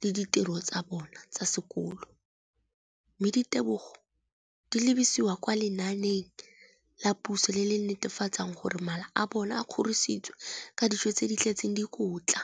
le ditiro tsa bona tsa sekolo, mme ditebogo di lebisiwa kwa lenaaneng la puso le le netefatsang gore mala a bona a kgorisitswe ka dijo tse di tletseng dikotla.